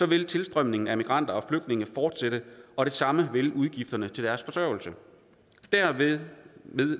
vil tilstrømningen af migranter og flygtninge fortsætte og det samme vil udgifterne til deres forsørgelse dermed